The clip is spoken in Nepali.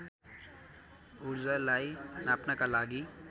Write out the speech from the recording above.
ऊर्जालाई नाप्नका लागि